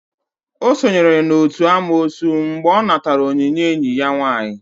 O sonyere n'otu n'amoosu mgbe ọ natara onyinye enyi ya nwaanyị.